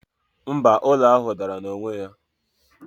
mba, ụlọ ahụ dara n'onwe ya